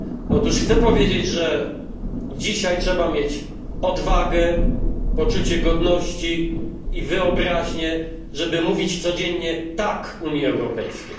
Otóż chcę powiedzieć, że dzisiaj trzeba mieć odwagę, poczucie godności i wyobraźnię, żeby mówić codziennie tak Unii Europejskiej.